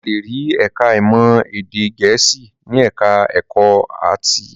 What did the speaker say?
A le rí ẹ̀ka-ìmọ̀ èdè Gẹ̀ẹ́sì ní ẹ̀ka-ẹ̀kọ́ áátì.